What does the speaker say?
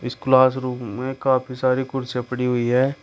इस class room में काफी सारी कुर्सियां पड़ी हुई हैं।